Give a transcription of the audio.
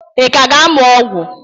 Ị ka ga-amụ ọgwụ?